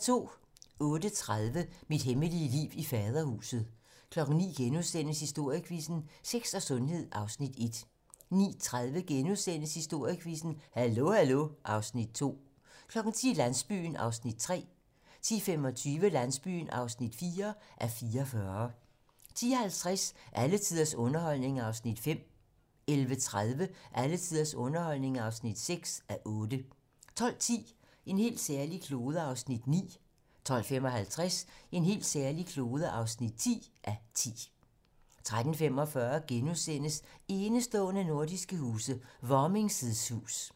08:30: Mit hemmelige liv i Faderhuset 09:00: Historiequizzen: Sex og sundhed (Afs. 1)* 09:30: Historiequizzen: Hallo hallo (Afs. 2)* 10:00: Landsbyen (3:44) 10:25: Landsbyen (4:44) 10:50: Alle tiders underholdning (5:8) 11:30: Alle tiders underholdning (6:8) 12:10: En helt særlig klode (9:10) 12:55: En helt særlig klode (10:10) 13:45: Enestående nordiske huse - Varming's hus *